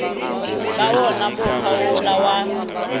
ka wona mokgwa wola wa